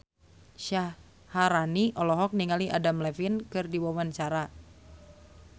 Syaharani olohok ningali Adam Levine keur diwawancara